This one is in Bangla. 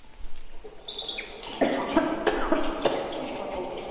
একদম করা উচিৎ নয়।